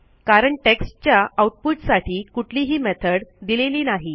कारण टेक्स्टच्या आऊटपुटसाठी कुठलीही मेथड दिलेली नाही